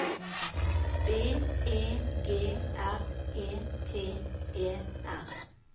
B E G R E P E R